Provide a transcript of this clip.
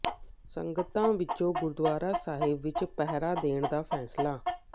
ਸੰਗਤਾਂ ਵੱਲੋਂ ਗੁਰਦੁਆਰਾ ਸਾਹਿਬ ਵਿਚ ਪਹਿਰਾ ਦੇਣ ਦਾ ਫ਼ੈਸਲਾ